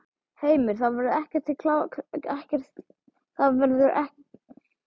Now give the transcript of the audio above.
Heimir: Það verður ekki gert í, klárað málið í kvöld?